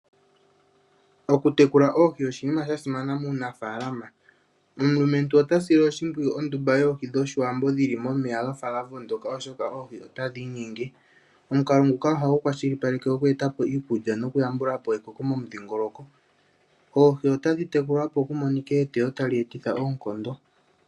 Okutekula oohi oshinima sha simana muunafaalama. Omulumentu ota sile oshimpwiyu ondumba yoohi dhOshiwambo dhi li momeya ga fa ga vongoka oshoka oohi otadhi inyenge. Omukalo nguka ohagu kwashilipaleke oku eta po iikulya nokuyambula po ekoko momudhingoloko. Oohi otadhi tekulwa opo ku monike eteyo tali etitha oonkondo.